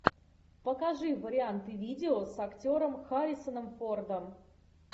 покажи варианты видео с актером харрисоном фордом